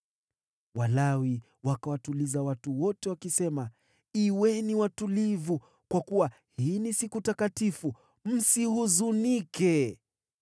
Walawi wakawatuliza watu wote wakisema, “Kuweni watulivu, kwa kuwa hii ni siku takatifu. Msihuzunike.”